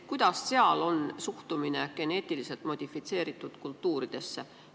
Kuidas meie naaberriikides on suhtumine geneetiliselt modifitseeritud kultuuridesse?